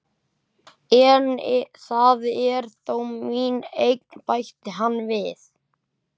En það er þó mín eign, bætti hann við.